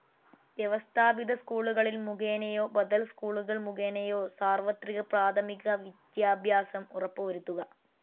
വ്യവസ്ഥാപിത സ്കൂളുകൾ മുഖേനയോ ബദൽ സ്കൂളുകൾ മുഖേനയോ സാർവ്വത്രിക പ്രാഥമിക വിജ്യാഭ്യാസം ഉറപ്പുവരുത്തുക.